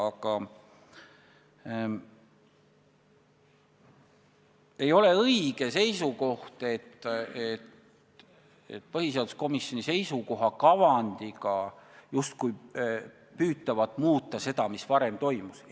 Aga ei ole õige väita, et põhiseaduskomisjoni seisukoha kavandiga justkui püütakse muuta seda, mis varem toimus.